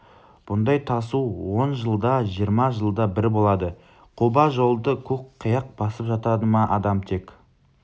бұндай тасу он жылда жиырма жылда бір болады қоба жолды көк қияқ басып жатады адам тек